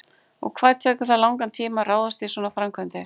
Og hvað tekur það langan tíma að ráðast í svona framkvæmdir?